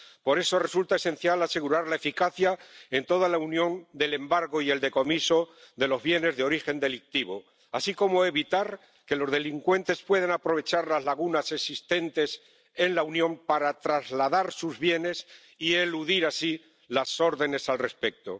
Por eso resulta esencial asegurar la eficacia, en toda la Unión, del embargo y el decomiso de los bienes de origen delictivo, así como evitar que los delincuentes puedan aprovechar las lagunas existentes en la Unión para trasladar sus bienes y eludir así las órdenes al respecto.